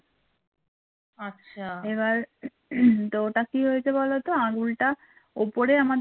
ওটা কি হয়েছে বোলোত আঙুলটা উপরে আমাদের